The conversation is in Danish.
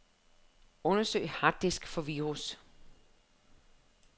Undersøg harddisk for virus.